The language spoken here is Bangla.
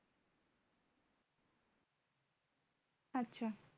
আচ্ছা